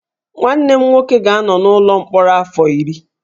Nwanne m nwoke ga-anọ n'ụlọ mkpọrọ afọ iri